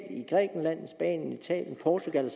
italien i portugal